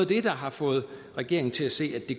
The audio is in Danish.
det der har fået regeringen til at se at det